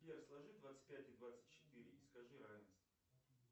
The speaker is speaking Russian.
сбер сложи двадцать пять и двадцать четыре и скажи равенство